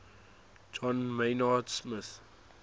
john maynard smith